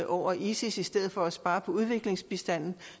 over isis i stedet for at spare på udviklingsbistanden